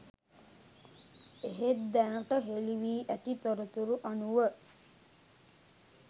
එහෙත් දැනට හෙළි වී ඇති තොරතුරු අනුව